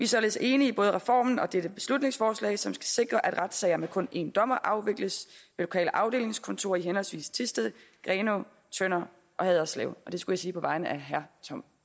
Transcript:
således enige i både reformen og dette beslutningsforslag som skal sikre at retssager med kun en dommer afvikles i de lokale afdelingskontorer i henholdsvis thisted grenaa tønder og haderslev og det skulle jeg sige på vegne af herre tom